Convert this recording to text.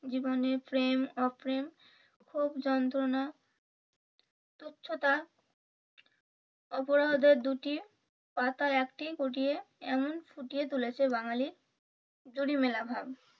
জীবনে প্রেম অপ্রেম ক্ষোভ যন্ত্রনা তুচ্ছতা অপরাধের দুটি পাতার একটি এমন ফুটিয়ে তুলেছে বাঙালি জুড়ি মেলা ভার।